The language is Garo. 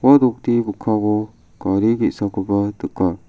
ua nokni mikkango gari ge·sakoba nika.